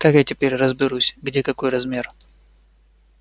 как я теперь разберусь где какой размер